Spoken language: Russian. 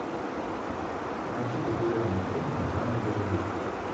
найти популярные фильмы в жанре боевик